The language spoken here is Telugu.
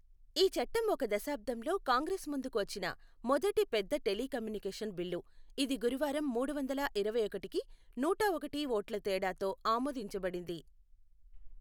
ఈ చట్టం ఒక దశాబ్దంలో కాంగ్రెస్ ముందుకు వచ్చిన మొదటి పెద్ద టెలికమ్యూనికేషన్ బిల్లు, ఇది గురువారం మూడు వందల ఇరవై ఒకటికి నూట ఒకటి ఓట్ల తేడాతో ఆమోదించబడింది.